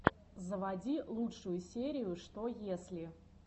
заводи лучшую серию что если